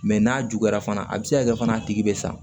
Mɛ n'a juguyara fana a bɛ se ka kɛ fana a tigi bɛ sa